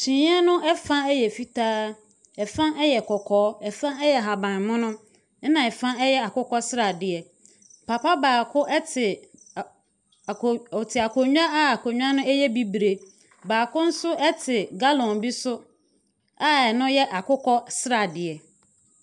kyiniiɛ no ɛfa yɛ fitaa, ɛfa yɛ kɔkɔɔ, ɛfa yɛ ahaban mono ɛna ɛfa yɛ akokɔ sradeɛ. Papa baako ɛte ako te akonwa a akonwa no yɛ bibre. Baako ɛnso te gallon bi so a ɛno yɛ akokɔ sradeɛ.